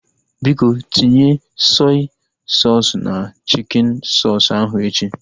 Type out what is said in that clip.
Biko, tinye sọi soosu na chikin soosu ahu echi